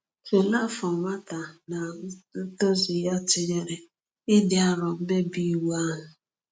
Tulee afọ nwata na ntozu ya tụnyere ịdị arọ mmebi iwu ahụ.